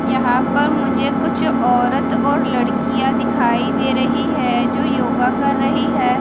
यहां पर मुझे कुछ औरत और लड़कियां दिखाई दे रही है जो योगा कर रही है।